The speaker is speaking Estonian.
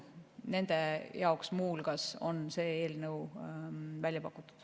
Muu hulgas nende jaoks on see eelnõu välja pakutud.